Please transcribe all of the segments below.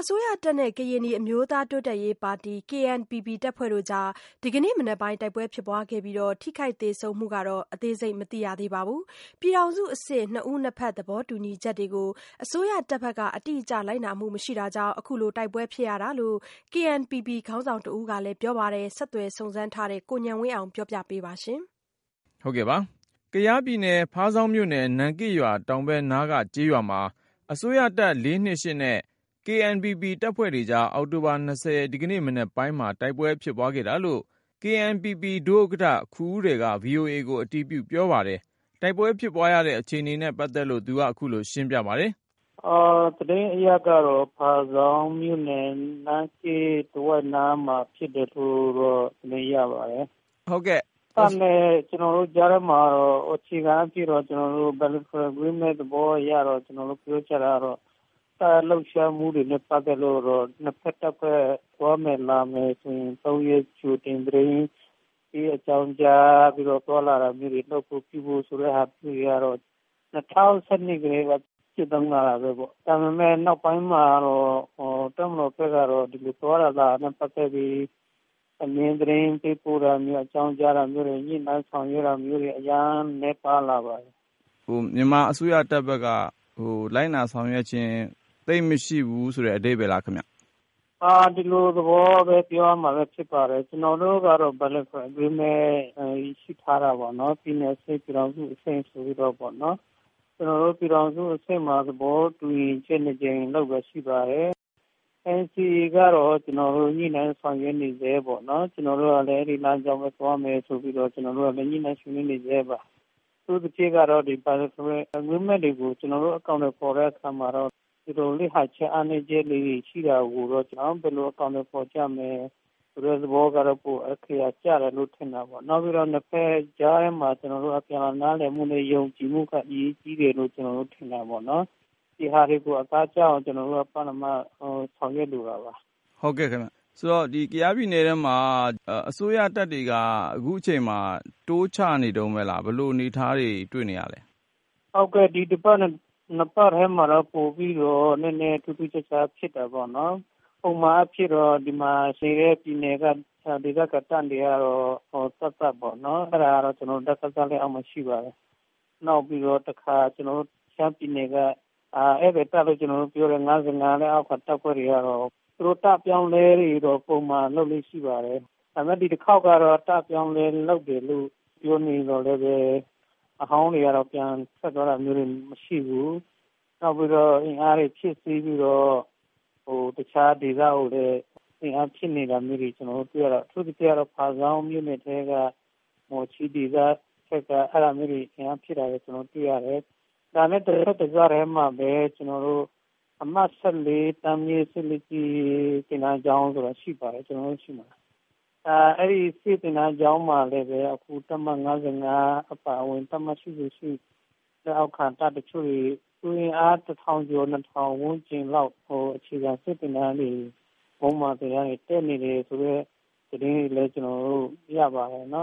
အစိုးရတပ်နဲ့ ကရင်နီအမျိုးသား တိုးတက်ရေးပါတီ KNPP တပ်ဖွဲ့တွေကြား ဒီကနေ့ မနက်ပိုင်းမှာ တိုက်ပွဲ ဖြစ်ခဲ့ပြီး ထိခိုက်သေဆုံးမှုအသေးစိတ်ကိုတော့ မသိရသေးပါဘူး။ ပြည်ထောင်စုအဆင့် နှစ်ဦးနှစ်ဘက် သဘောတူညီချက်တွေကို အစိုးရတပ်ဘက်က အတိအကျ လိုက်နာမှုမရှိတာကြောင့် ခုလို တိုက်ပွဲ ဖြစ်လာ ရတာလို့ KNPP ခေါင်းဆောင်တဦးက ပြောပါတယ်။ ဆက်သွယ်စုံစမ်းထားတဲ့ ကိုဉာဏ်ဝင်းအောင်က စုံစမ်း တင်ပြပေးထားပါတယ်။ ကယားပြည်နယ် ဖားဆောင်းမြို့နယ် နန်းကစ်ရွာတောင်ဘက်နားက ကျေးရွာမှာ အစိုးရတပ် နဲ့ KNPP တပ်ဖွဲ့တွေကြား အောက်တိုဘာ ၂၀ ရက်နေ့ ဒီကနေ့ မနက်ပိုင်းမှာ တိုက်ပွဲဖြစ်ပွားခဲ့တာလို့ KNPP ဒုဥက္ကဋ္ဌ ခူဦးရယ်က VOA ကိုအတည်ပြုပြောပါတယ်။ တိုက်ပွဲဖြစ်ပွားရတဲ့ အခြေအနေနဲ့ ပတ်သက်လို့ သူက ခုလိုရှင်းပြပါတယ်။ သတင်းအရကတော့ ဖားဆောင်းမြို့နယ် နန်းရှေ့နားတဝိုက်မှာဖြစ်တယ်လို့တော့ သတင်းရ ပါတယ်။ တပ်နဲ့ကျနော်တို့ကြားမှာတော့ အခြေခံအားဖြင့်တော့ bilateral agreement သဘောအရတော့ ကျနော်တို့ပြောကြတာကတော့ တပ်ရဲ့လှုပ်ရှားမှုတွေနဲ့ ပတ်သက်လို့ကတော့ ၂ ဘက်တပ်ဖွဲ့ သွားမယ်လာမယ် ဆိုရင် ၃ ရက်ကြိုတင်သတင်းပေး အကြောင်းကြားပြီးတော့ သွားလာတာမျိုးတွေ လုပ်ဖို့ပြုဖို့ဆိုတဲ့ ဟာမျိုးတွေ ကတော့ ၂၀၁၂ ကတည်းက ကျင့်သုံးလာတာပဲပေါ့။ ဒါပေမဲ့ နောက်ပိုင်းမှာ တပ်မတော်ဘက်ကတော့ ဒီလို သွားတာလာတာနဲ့ ပတ်သက်ပြီး အမြဲသတင်းပေးပို့တာမျိုး၊ အကြောင်းကြားတာမျိုးတွေ၊ ညှိနှိုင်းဆောင်ရွက်တာ မျိုးတွေ အရမ်းနည်းပါလာပါတယ်။ မြန်မာအစိုးရတပ်ဘက်က လိုက်နာဆောင်ရွက်ခြင်း၊ သိပ်မရှိဘူးဆိုတဲ့ အဓိပ္ပါယ်လားခင်ဗျ။ ဒီလိုသဘောပဲ ပြောရမှာပဲဖြစ်ပါတယ်။ ကျနော်တို့ကတော့ bilateral agreement ရှိထားတာ ပေါ့။ ပြည်နယ်အဆင့် ၊ ပြည်ထောင်စုအဆင့်ဆိုပြီးတော့ပေါ့နော်။ ကျနော်တို့ ပြည်ထောင်စုအဆင့်မှာ သဘောတူညီချက် ၂ ကြိမ်လုပ်တာရှိပါတယ်။ NCA ကတော့ ကျနော်တို့ ညှိနှိုင်းဆောင်ရွက်နေဆဲ ပေါ့နော်။ ကျနော်တို့ကလည်း အဲဒီလမ်းကြောင်းပဲသွားမယ်ဆိုပြီးတော့ ညှိနှိုင်းဆွေးနွေးနေဆဲပါ။ အထူးသဖြင့်ကတော့ bilateral agreement တွေကို ကျနော်တို့ အကောင်အထည်ဖော်တဲ့အခါ မှာတော့ လစ်ဟာချက်၊ အားနည်း ချက်လေးတွေရှိတာကိုတော့ ဘယ်လိုအကောင်အထည်ဖော်ကြမယ် ဆိုတာကတော့ ပိုအခရာကျတယ်လို့ ထင်တာပေါ့ နောက်တခုက ကျနော်တို့ ၂ ဘက်ကြားထဲမှာ အပြန်အလှန်နားလည်မှုနဲ့ ယုံကြည်မှုက ပိုပြီးတော့ အရေးကြီးတယ်လို့ ကျနော်တို့ထင်တာပေါ့။ ဒီဟာတွေကို အသားကျအောင် ကျနော်တို့က ပထမဆောင်ရွက်လို တာပါ။ ဟုတ်ကဲ့ခင်ဗျ။ ဒီတော့ ကျနော်တို့ ကယားပြည်နယ်ထဲမှာ အစိုးရတပ်တွေက အခုချိန်မှာ တိုးချနေတုန်းပဲလား၊ ဘယ်လိုအနေအထားတွေ တွေ့နေရသလဲ။ ဟုတ်ကဲ့ ဒီတစ်ပတ် နှစ်ပတ်ထဲမှာတော့ ပိုပြီးတော့နည်းနည်းထူးထူးခြားခြားဖြစ်တာပေါ့နော်၊ ပုံမှန်အားဖြင့်တော့ ဒီမှာနေတဲ့ ဒေသခံတပ်တွေကတော့ သပ်သပ်ပေါ့နော်။ အဲဒါကတော့ ကျနော်တို့ ဒစခ လက်အောက်မှာရှိပါတယ်။ နောက်ပြီးတော့ တခါကျနော်တို့ ရှမ်းပြည်နယ်က ဧည့်သည်တပ်လို့ ကျနော်တို့ ပြောတဲ့ ၅၅ လက်အောက်ခံတပ်တွေကတော့ သူတို့ တပ်အပြောင်းအလဲတွေက ပုံမှန်လုပ်လေ့ရှိပါတယ်။ ဒါပေမဲ့ ဒီတခေါက်ကတော့ တပ်အပြောင်းအလဲလုပ်တယ်လို့ ပြောနေသော်လည်း အဟောင်းတွေကတော့ ပြန်ထွက်သွားတာမျိုးတွေမရှိဘူး။ နောက်ပြီးတော့ အင်အားတွေ ဖြည့်တင်းပြီးတော့ တခြားဒေသကိုလည်း အင်အားဖြည့်နေတာမျိုးတွေ ကျနော်တို့တွေ့ရတယ်။ အထူးသဖြင့်ကတော့ ဖားဆောင်းမြို့နယ်ထဲက မော်ချီး ဒေသဘက်မှာ အင်အားဖြည့်နေတာမျိုးတွေ ကျနော်တို့တွေ့ရတယ်။ ကျန်တဲ့ ကယားဒေသထဲမှာပဲ ကျနော်တို့ အမှတ် ၁၄ တန်းမြှင့်စစ်သင်တန်းကျောင်းဆိုတာရှိပါတယ်။ အဲဒီစစ်သင်တန်းကျောင်းမှာလဲ တပ်မ ၅၅ အပါ အဝင် တပ်မ ၈၈ လက်အောက်ခံတပ်တချို့တွေ လူအင်အား ၁ ထောင်ကျော် ၂ ထောင် ဝန်းကျင်လောက် အခြေခံစစ်သင်တန်းတွေ မွမ်းမံသင်တန်းတွေ တက်နေတယ်ဆိုတဲ့ သတင်းတွေ ကျနော်တို့ရပါတယ်။ ဒါ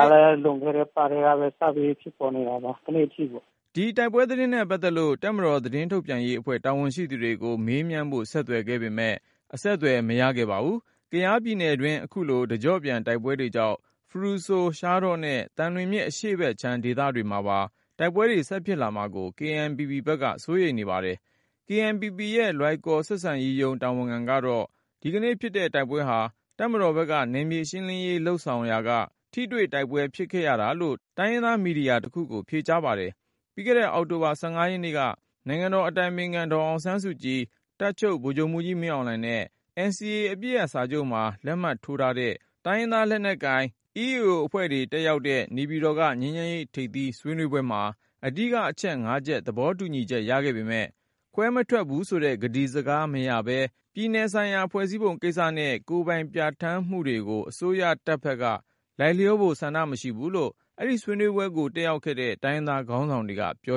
က လည်း လွန်ခဲ့တဲ့ အပတ်ကတည်းက စပြီးဖြစ်ပေါ်နေတာ ဒီနေ့အထိပေါ့။ ဒီတိုက်ပွဲသတင်းနဲ့ပတ်သက်လို့ တပ်မတော် သတင်းထုတ်ပြန်ရေးအဖွဲ့ တာဝန်ရှိသူတွေကို မေးမြန်းဖို့ ဆက် သွယ်ခဲ့ပေမယ့် အဆက်အသွယ် မရခဲ့ပါဘူး။ ကယားပြည်နယ်တွင်း အခုလို တကြော့ပြန်တိုက်ပွဲတွေကြောင့် ဖရူဆို၊ ရှားတောနဲ့ သံလွင်မြစ် အရှေ့ဘက်ခြမ်းဒေသတွေမှာပါ တိုက်ပွဲတွေ ဆက်ဖြစ်လာမှာကို KNPP ဘက်က စိုးရိမ်နေပါတယ်။ KNPP ရဲ့ လွိုင်ကော်ဆက်ဆံရေးရုံး တာဝန်ခံကတော့ ဒီကနေ့ဖြစ်တဲ့ တိုက်ပွဲဟာ တပ်မတော် ဘက်က နယ်မြေရှင်းလင်းရေး လုပ်ဆောင်ရာက ထိတွေ့တိုက်ပွဲဖြစ်ခဲ့တာလို့ တိုင်းရင်းသားမီဒီယာတခုကို ဖြေကြားပါတယ်။ ပြီးခဲ့တဲ့ အောက်တိုဘာ ရက်နေ့က နိုင်ငံတော်အတိုင်ပင်ခံ ဒေါ်အောင်ဆန်းစုကြည်၊ တပ်ချုပ် ဗိုလ်ချုပ် မှူးကြီး မင်းအောင်လှိုင်နဲ့ NCA အပစ်ရပ်စာချုပ်မှာ လက်မှတ်ထိုးထားတဲ့ တိုင်းရင်သားလက်နက်ကိုင် EAO အဖွဲ့တွေတက်ရောက်တဲ့ နေပြည်တော်က ငြိမ်းချမ်းရေးထိပ်သီး ဆွေးနွေးပွဲမှာ အဓိကအချက် ၅ ချက် သဘော တူညီချက်ရခဲ့ပေမယ့် ခွဲမထွက်ဘူးဆိုတဲ့ ကတိစကားမရပဲနဲ့ ပြည်နယ်ဆိုင်ရာ ဖွဲ့စည်းပုံကိစ္စနဲ့ ကိုယ်ပိုင်ပြဌာန်း မှုတွေကို အစိုးရတပ်ဘက်က လိုက်လျောဖို့ ဆန္ဒမရှိဘူးလို့ အဲဒီဆွေးနွေးပွဲတက်ခဲ့တဲ့ တိုင်းရင်သား ခေါင်းဆောင်တွေက ပြော